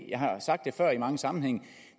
jeg har sagt det før i mange sammenhænge